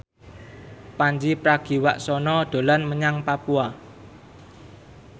Pandji Pragiwaksono dolan menyang Papua